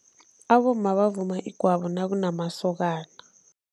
Abomma bavuma igwabo nakunamasokana.